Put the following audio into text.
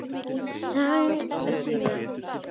Sagði síðan